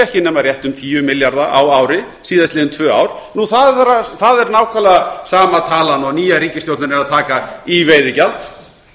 ekki nema rétt um tíu milljarða á ári síðastliðin tvö ár það er nákvæmlega sama talan og nýja ríkisstjórnin er að taka í veiðigjald